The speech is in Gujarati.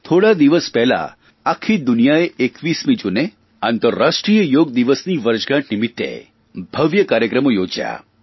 થોડા દિવસ પહેલાં આખી દુનિયાએ 21મી જૂને આંતરરાષ્ટ્રીય યોગ દિવસની વર્ષગાંઠ નિમિત્તે ભવ્ય કાર્યક્રમો યોજયા